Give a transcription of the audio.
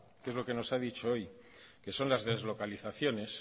que es lo que nos ha dicho hoy que son las deslocalizaciones